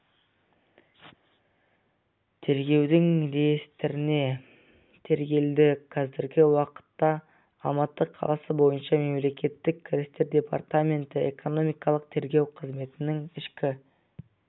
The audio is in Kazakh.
тергеудің реестріне тіркелді қазіргі уақытта алматы қаласы бойынша мемлекеттік кірістер департаменті экономикалық тергеу қызметінің ішкі